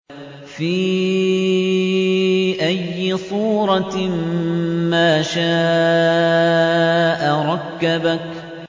فِي أَيِّ صُورَةٍ مَّا شَاءَ رَكَّبَكَ